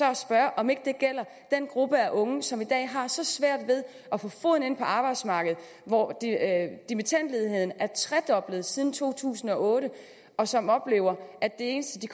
at spørge om ikke det gælder den gruppe af unge som i dag har så svært ved at få foden indenfor på arbejdsmarkedet dimittendledigheden er tredoblet siden to tusind og otte og som oplever at det eneste de